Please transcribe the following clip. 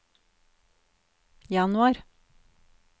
januar